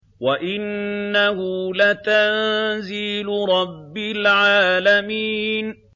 وَإِنَّهُ لَتَنزِيلُ رَبِّ الْعَالَمِينَ